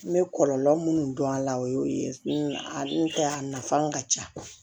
N bɛ kɔlɔlɔ minnu dɔn a la o y'o ye a n'o tɛ a nafan ka ca